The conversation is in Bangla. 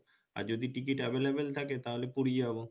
আর যদি ticket available থাকে তাহলে পুরি যাবো